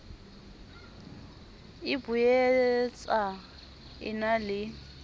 e boetsa e na le